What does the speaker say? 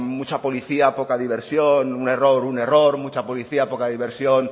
mucha policía poca diversión un error un error mucha policía poca diversión